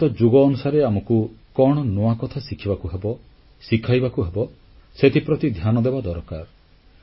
ପରିବର୍ତ୍ତିତ ଯୁଗ ଅନୁସାରେ ଆମକୁ କଣ ନୂଆ କଥା ଶିଖିବାକୁ ହେବ ଶିଖାଇବାକୁ ହେବ ସେଥିପ୍ରତି ଧ୍ୟାନଦେବା ଦରକାର